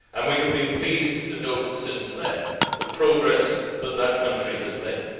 We have been pleased to note since then the progress that country has made.